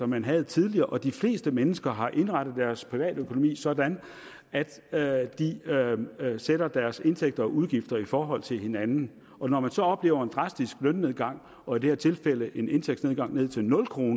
man havde tidligere de fleste mennesker har indrettet deres privatøkonomi sådan at at de sætter deres indtægter og udgifter i forhold til hinanden og når man så oplever en drastisk lønnedgang og i det her tilfælde en indtægtsnedgang ned til nul kr er